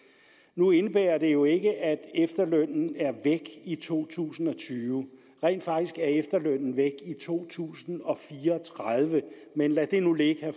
nu indebærer det jo ikke at efterlønnen er væk i to tusind og tyve rent faktisk er efterlønnen væk i to tusind og fire og tredive men lad det nu ligge